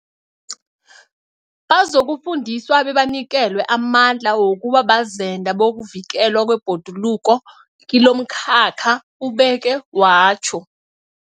Bazokufundiswa bebanikelwe amandla wokuba bazenda bokuvikelwa kwebhoduluko kilomkhakha, ubeke watjho.